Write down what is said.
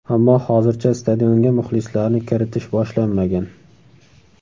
Ammo hozircha stadionga muxlislarni kiritish boshlanmagan.